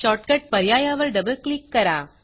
shortcut पर्यायावर double click करा